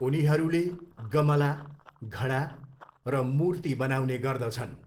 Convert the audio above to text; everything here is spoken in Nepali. उनीहरूले गमला, घडा र मूर्ति बनाउने गर्दछन्।